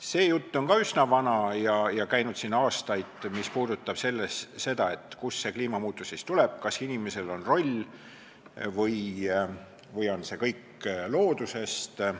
See jutt on ka üsna vana ja on käinud siin aastaid, et kust see kliimamuutus siis tuleb, kas inimesel on siin roll või tuleneb see kõik loodusest.